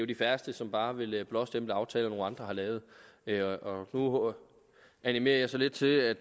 de færreste som bare vil blåstemple aftaler nogle andre har lavet nu animerer jeg så lidt til at